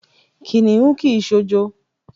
Kìnìún kì í s̩òjo.